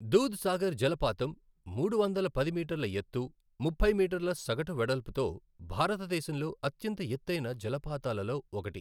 దూద్ సాగర్ జలపాతం మూడు వందల పది మీటర్ల ఎత్తు, ముప్పై మీటర్ల సగటు వెడల్పుతో భారతదేశంలో అత్యంత ఎత్తైన జలపాతాలలో ఒకటి.